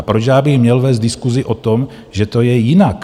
A proč já bych měl vést diskusi o tom, že to je jinak?